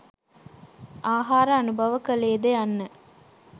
ආහාර අනුභව කළේද යන්න